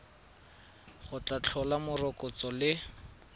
go tla tlhola morokotso le